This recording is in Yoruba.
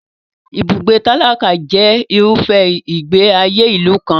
Ibùgbé tálákà jẹ irúfẹ́ ìgbé ayé ìlú kan.